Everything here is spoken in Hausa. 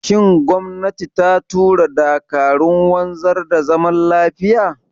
Shin gwamnati ta tura dakarun wanzar da zaman lafiya?